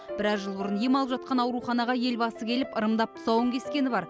біраз жыл бұрын ем алып жатқан ауруханаға елбасы келіп ырымдап тұсауын кескені бар